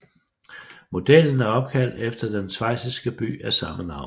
Modellen er opkaldt efter den schweiziske by af samme navn